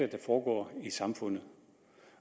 er der foregår i samfundet